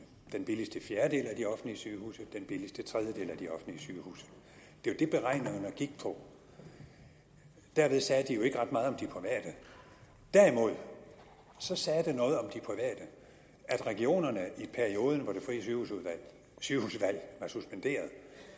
den billigste fjerdedel af de offentlige sygehuse den billigste tredjedel af de offentlige sygehuse det var det beregningerne gik på derved sagde de jo ikke ret meget om de private derimod sagde de noget om at regionerne i perioden hvor det frie sygehusvalg var suspenderet